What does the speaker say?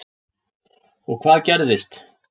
Og hvað gerðist?